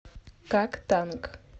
как танк